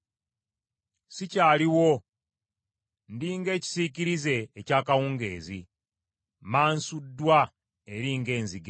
Sikyaliwo, ndi ng’ekisiikirize eky’akawungeezi; mmansuddwa eri ng’enzige.